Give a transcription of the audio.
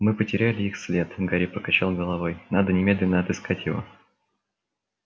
мы потеряли их след гарри покачал головой надо немедленно отыскать его